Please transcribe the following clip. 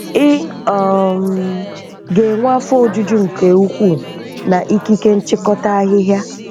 Ị um ga-enwe afọ ojuju nke ukwuu na ikike nchịkọta ahịhịa.